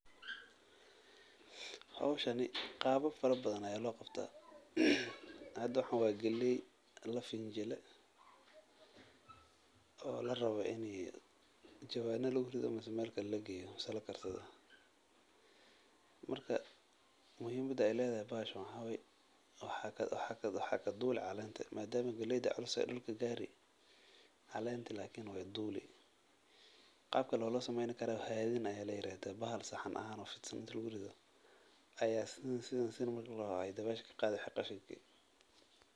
Hoshani qabab fara badhan aya loqabta, hada waxan wa galey lafinjile oo larabo ini jawana lagurido mise melkale lageyo mise lakarsadho, marka muhimada ay ledhahy bahashan maxa wayeh waxa katuli calenta madam ay galeyda culustahay ay dulka gari, calenta lakini way duli, qabka kale oo lo sameyni karo waxa iyadhana layirada bahal saxan ahana oo fidsan inti ladurido aya sidhan, sidhan marki ladoho dawesha kaqadhi wixi qashinki.